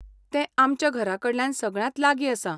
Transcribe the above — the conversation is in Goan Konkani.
तें आमच्या घराकडल्यान सगळ्यांत लागीं आसा.